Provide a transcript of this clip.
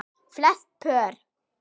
Flest pör